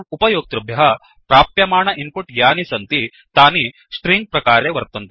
उपयोक्तृभ्यः प्राप्यमाण इन्पुट् यानि सन्ति तनि स्ट्रिंग प्रकारे वर्तन्ते